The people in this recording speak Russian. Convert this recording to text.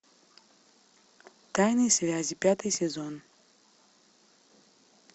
тайные связи пятый сезон